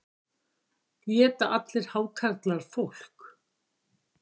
Éta allir hákarlar fólk?